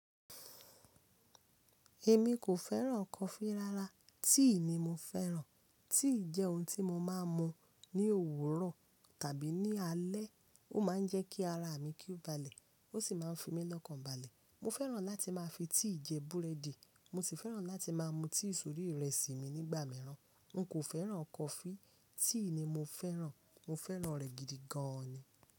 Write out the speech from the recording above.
Èmi kò fẹ́ràn coffee rárá, tea ni mo fẹ́ràn. Tea jẹ́ ohun tí mo máa ń mu ní òwúrọ̀ tàbí ní alé. Ó máa ń jẹ́ kí ara mi ki o balẹ̀, ó sì máa ń fi mí lọ́kàn balẹ̀. Mo fẹ́ràn láti máa fi tea jẹ búrẹ́dì. Mo sì fẹ́ràn láti máa mu tea sórí ìrẹsì mi nígbà mìíràn. N kò fẹ́ràn coffee, tea ni mo fẹ́ràn. Mo fẹ́ràn rẹ̀ gidi gan ni.